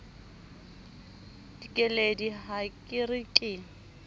dikeledi ha ke re ke